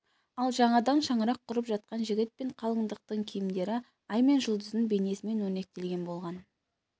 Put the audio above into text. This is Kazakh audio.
ал жаңадан шаңырақ құрып жатқан жігіт пен қалыңдықтың киімдері ай мен жұлдыздың бейнесімен өрнектелетін болған